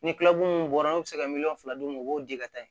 Ni mun bɔra n'u bɛ se ka miliyɔn fila d'u ma u b'o di ka taa yen